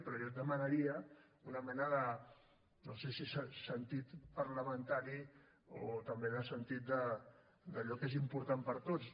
però jo demanaria una mena de no sé si sentit parlamentari o també de sentit d’allò que és important per a tots